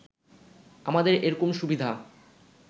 আমাদের এরকম সুবিধা